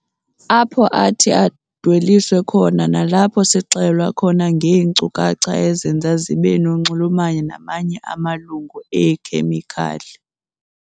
Apho athi adweliswe khona nalapho sixelelwa khona ngeenkcukacha ezenza zibe nonxulumano namanye amalungu eekhemikhali.